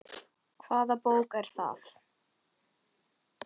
Hvaða bók er það?